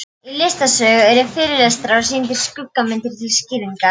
Í listasögu eru fyrirlestrar og sýndar skuggamyndir til skýringar.